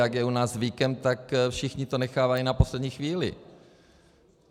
Jak je u nás zvykem, tak všichni to nechávají na poslední chvíli.